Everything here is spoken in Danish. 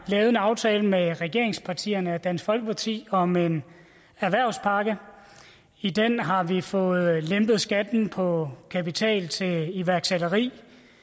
lavet en aftale med regeringspartierne og dansk folkeparti om en erhvervspakke i den har vi fået lempet skatten på kapital til iværksætteri